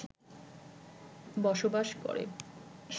বসবাস করে